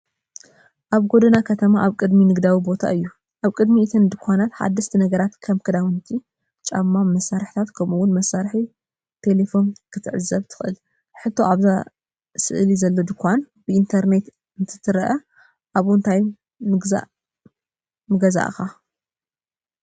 ሓደ ጎደና ከተማ ኣብ ቅድሚ ንግዳዊ ቦታ እዩ። ኣብ ቅድሚ እተን ድኳናት፡ ሓደስቲ ነገራት ከም ክዳውንቲ፡ ጫማ፡ መሳርሒታት፡ ከምኡ’ውን መሳርሒታት ቴለፎን ክትዕዘብ ትኽእል። ሕቶ፡ ኣብዛ ስእሊ ዘሎ ድኳን ብኢንተርነት እንተትርኢ፡ ኣብኡ እንታይ ምገዛእካ?